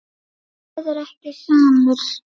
En þú verður ekki samur.